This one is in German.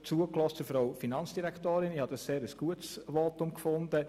Ich habe ihr Votum sehr gut gefunden.